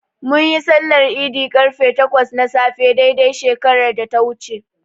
Munyi sallar Idi ƙarfe takwas na safe dai dai shekarar da ta wuce.